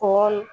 Kɔn